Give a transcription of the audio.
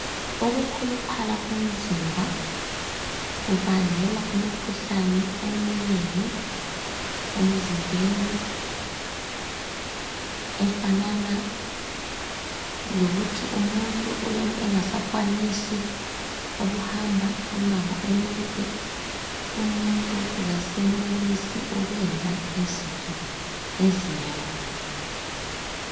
Ukukhuluphala komzimba kubangela imikhuhlane emnengi emzimbeni efanana lokuthi umuntu uyabe engasakwanisi ukuhamba imango emide , umuntu kasenelisi ukwenza izinto ezinengi.